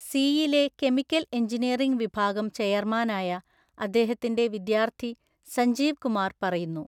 C യിലെ chemical engineering വിഭാഗം ചെയർമാനായ അദ്ദേഹത്തിന്റെ വിദ്യാർത്ഥി സഞ്ജീവ് കുമാർ പറയുന്നു.